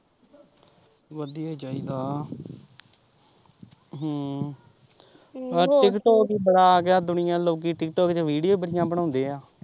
ਵਧੀਆ ਚਾਹੀਦਾ ਹਮ tiktok talk ਹੀ ਬੜਾ ਆਗਿਆ ਦੁਨੀਆ ਲੋਕੀਂ tiktok talk ਚ ਵੀਡੀਓ ਹੀ ਬੜੀਆਂ ਬਣਾਉਂਦੇ ਆ।